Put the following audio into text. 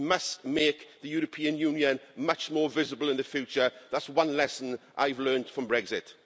We must make the European Union much more visible in the future. That's one lesson I've learnt from Brexit.